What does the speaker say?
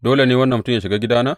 Dole ne wannan mutum yă shiga gidana?